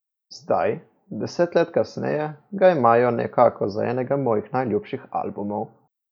Zdaj, deset let kasneje, ga imajo nekako za enega mojih najboljših albumov.